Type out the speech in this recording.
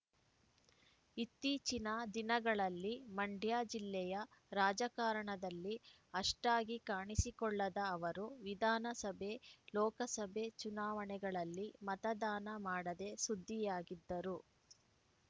ಇತ್ತೀಚಿನ ದಿನಗಳಲ್ಲಿ ಮಂಡ್ಯ ಜಿಲ್ಲೆಯ ರಾಜಕಾರಣದಲ್ಲಿ ಅಷ್ಟಾಗಿ ಕಾಣಿಸಿಕೊಳ್ಳದ ಅವರು ವಿಧಾನಸಭೆ ಲೋಕಸಭೆ ಚುನಾವಣೆಗಳಲ್ಲಿ ಮತದಾನ ಮಾಡದೆ ಸುದ್ದಿಯಾಗಿದ್ದರು